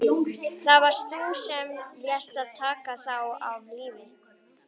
Það varst þú sem lést taka þá af lífi.